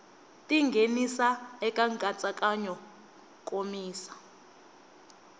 ti nghenisa eka nkatsakanyo nkomiso